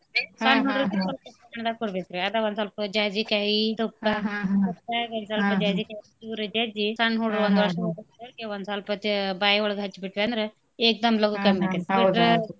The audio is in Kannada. ಕೊಡ್ಬೇಕ್ರಿ ಅದ ಒಂದ್ ಸೊಲ್ಪ್ ಜಾಜಿಕಾಯಿ ತುಪ್ದಾಗ್ ಒಂದ್ ಸೊಲ್ಪ್ ಜಾಜಿಕಾಯಿ ಜಜ್ಜಿ ಸಣ್ ಹುಡ್ರ್ಗೆ ಒಂದ್ ವರ್ಷದ್ ಒಂದ್ ಸೊಲ್ಪ ತ್~ ಬಾಯ್ ಒಳಗ್ ಹಚ್ಬಿಟ್ವ್ಯಂದ್ರೆ ಏಕ್ ದಮ್ ಲಗೂ ಕಮ್ಮಿ ಆಕೇತ್ .